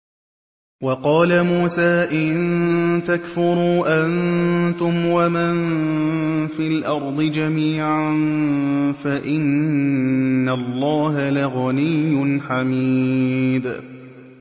وَقَالَ مُوسَىٰ إِن تَكْفُرُوا أَنتُمْ وَمَن فِي الْأَرْضِ جَمِيعًا فَإِنَّ اللَّهَ لَغَنِيٌّ حَمِيدٌ